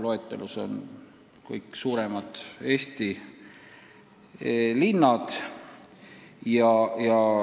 Loetelus on kõik suuremad Eesti linnad.